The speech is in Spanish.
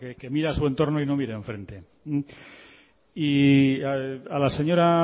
que mire a su entorno y no mire enfrente y a la señora